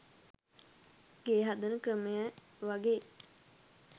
ගේ හදන ක්‍රමය වගෙයි.